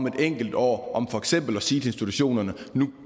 et enkelt år om for eksempel at sige institutionerne nu